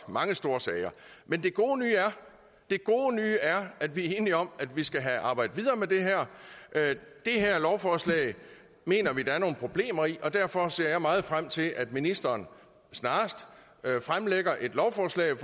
mange store sager men det gode nye er at vi er enige om at vi skal have arbejdet videre med det her det her lovforslag mener vi der er nogle problemer i og derfor ser jeg meget frem til at ministeren snarest fremsætter et lovforslag